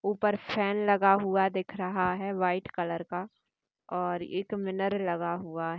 ऊपर पंखा लगा हुआ है वह व्हाइट कलर का है और एक मिरर लगा हुआ है।